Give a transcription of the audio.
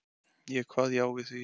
Ég kvað já við því.